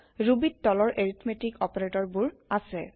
ৰুবিত তলৰ এৰিথমেতিক অপাৰেতৰ বোৰ আছে